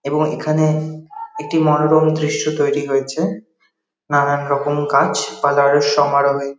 এবং এখানে একটি মনোরম দৃশ্য তৈরী রয়েছে। নানান রকম গাছ পালার সমারহে।